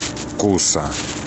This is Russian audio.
куса